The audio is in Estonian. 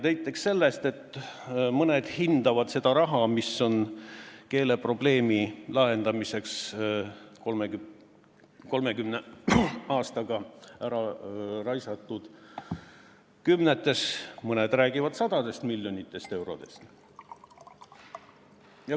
Näiteks sellest, et mõned hindavad seda raha, mis on keeleprobleemi lahendamiseks 30 aastaga ära raisatud, kümnetes miljonites, mõned räägivad sadadest miljonitest eurodest.